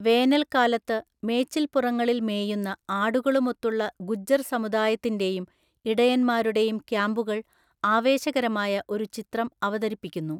വേനൽക്കാലത്ത്, മേച്ചിൽപ്പുറങ്ങളിൽ മേയുന്ന ആടുകളുമൊത്തുള്ള ഗുജ്ജർ സമുദായത്തിന്റെയും ഇടയൻമാരുടെയും ക്യാമ്പുകൾ ആവേശകരമായ ഒരു ചിത്രം അവതരിപ്പിക്കുന്നു.